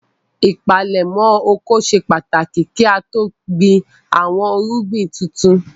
Ìpalẹ́mọ́ oko ṣe pàtàkì kí á tó gbin àwọn irúgbìn tuntun.